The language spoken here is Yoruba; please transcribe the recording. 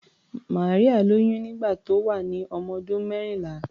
Maria lóyún nígbà tó wà ní ọmọdún mẹ́rìnlá.